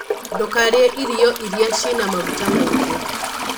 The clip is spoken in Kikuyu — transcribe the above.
Ndũkarĩe irio iria cina maguta maingĩ.